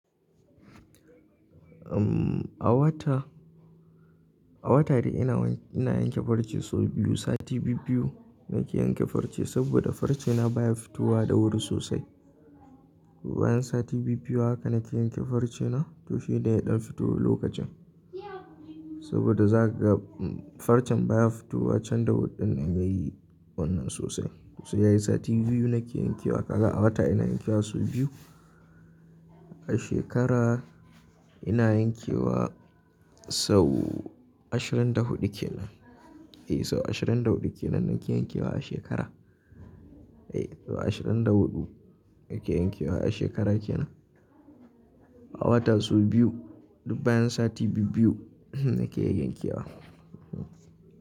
A wata, a wata ina yanke farce sau biyu, sati biyu-biyu nake yanke farce saboda farce na baya fitowa da wuri sosai. Bayan sati biyu-biyu haka nake yanke farce na toshe da ya ɗan fito lokacin. Saboda zaga farcen baya fitowa can da huɗun nan yayi wannan sosai. So yayi sati biyu nake yankewa, haka a wata ina yankewa sau biyu. A shekara ina yankewa sau ashirin da huɗu kenan. Eh sau ashirin da huɗu kenan nake yankewa a shekara. Eh sau ashirin da huɗu nake yankewa a shekara kenan. A wata sau biyu duk bayan sati biyu-biyu nake yankewa.